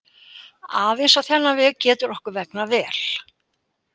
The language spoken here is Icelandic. Aðeins á þennan vegu getur okkur vegnað vel.